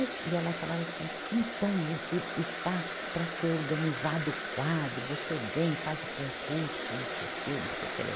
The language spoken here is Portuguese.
E ela falava assim, então, e está para ser organizado o quadro, você vem e faz o concurso, não sei o que, não sei o que lá.